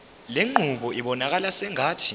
lenqubo ibonakala sengathi